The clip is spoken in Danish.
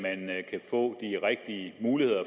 rigtige muligheder